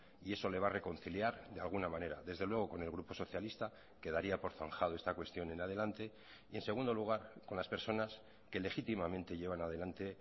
y eso le va a reconciliar de alguna manera desde luego con el grupo socialista quedaría por zanjado esta cuestión en adelante y en segundo lugar con las personas que legítimamente llevan adelante